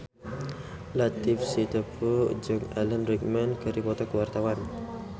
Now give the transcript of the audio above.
Latief Sitepu jeung Alan Rickman keur dipoto ku wartawan